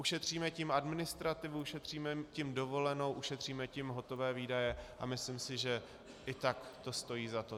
Ušetříme tím administrativu, ušetříme tím dovolenou, ušetříme tím hotové výdaje a myslím si, že i tak to stojí za to.